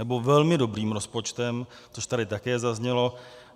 Nebo velmi dobrým rozpočtem, což tady také zaznělo.